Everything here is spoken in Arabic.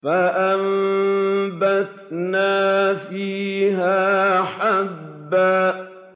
فَأَنبَتْنَا فِيهَا حَبًّا